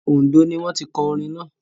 Oǹdó ni wọ́n tí kọ orin náà.